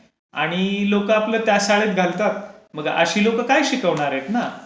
आणि लोकं आपला त्या शाळेमध्ये घालतात, मग अशी लोकं काय शिकवणार आहेत. है ना?